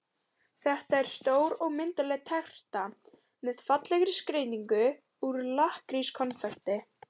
Þetta er stór og myndarleg terta með fallegri skreytingu úr lakkrískonfekti.